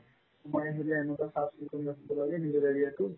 মই আহিলে এনেকুৱা চাফ-চিকুণ ৰাখিব লাগে নিজৰ area তো